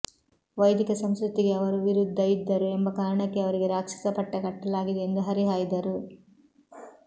ವೈದಿಕ ಸಂಸ್ಕೃತಿಗೆ ಅವರು ವಿರುದ್ಧ ಇದ್ದರು ಎಂಬ ಕಾರಣಕ್ಕೆ ಅವರಿಗೆ ರಾಕ್ಷಸ ಪಟ್ಟ ಕಟ್ಟಲಾಗಿದೆ ಎಂದು ಹರಿಹಾಯ್ದರು